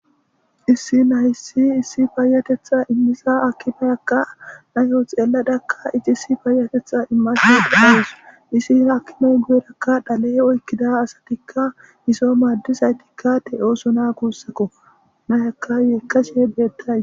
issi nayyssi issi paayatetha immisa akimayakka nayoo xeelladakka icisi faayatetha immase dhaees isi akkimoy guyerakka dhale oykkida asatikka iso maaddizaytikka te7ooso naa kuussako nayaka yeekkashe beettay